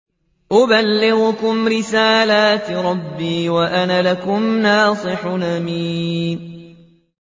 أُبَلِّغُكُمْ رِسَالَاتِ رَبِّي وَأَنَا لَكُمْ نَاصِحٌ أَمِينٌ